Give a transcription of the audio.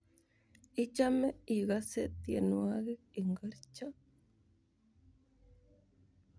Ichome ikose tyenwogik ingorcho?